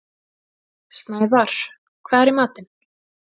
Snævarr, hvað er í matinn?